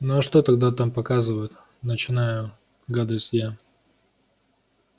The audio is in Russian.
ну а что тогда там показывают начинаю гадать я